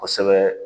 Kosɛbɛ